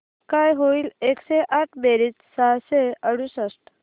काय होईल एकशे आठ बेरीज सहाशे अडुसष्ट